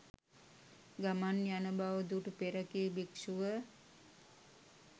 ගමන් යන බව දුටු පෙරකී භික්ෂු ව